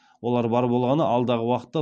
олар бар болғаны алдағы уақытта